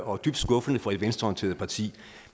og dybt skuffende for et venstreorienteret parti